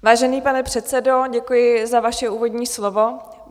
Vážený pane předsedo, děkuji za vaše úvodní slovo.